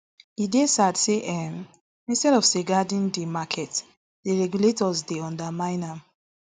e dey sad say um instead of safeguarding di market di regulator dey undermine am